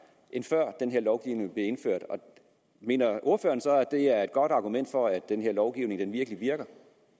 end før den her lovgivning blev indført mener ordføreren så at det er et godt argument for at den her lovgivning virkelig virker